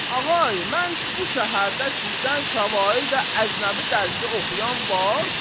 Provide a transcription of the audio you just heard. Ağay, mən bu şəhərdə sizdən savayı da əcnəbi dərsi oxuyan var?